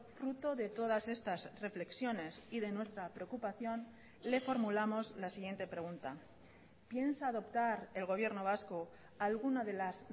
fruto de todas estas reflexiones y de nuestra preocupación le formulamos la siguiente pregunta piensa adoptar el gobierno vasco alguna de las